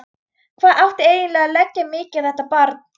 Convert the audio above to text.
Hvað átti eiginlega að leggja mikið á þetta barn?